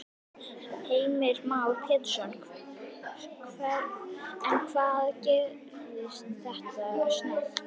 Heimir Már Pétursson: En hvað gerist þetta snöggt?